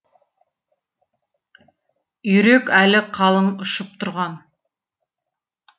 үйрек әлі қалың ұшып тұрған